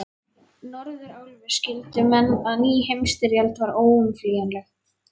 Norðurálfu, skildu menn, að ný heimsstyrjöld var óumflýjanleg.